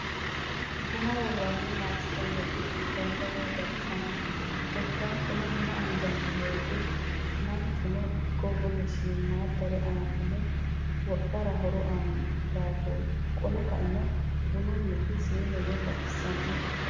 bunna woranni masiqamaci biifano woyi baxisanno korikaatonno bunna anganni woyite maankichono iko wole shiimadare aannaho wodhate horo aanno daafooti qole ka'enno bunnuniti siinenno baxisannote.